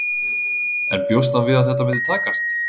En bjóst hann við að þetta myndi takast?